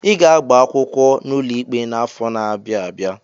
I ga-agba akwụkwọ n'ụlọ ikpe n'afọ n'abia abịa!